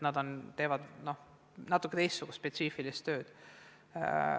Nad teevad natuke teistsugust spetsiifilist tööd.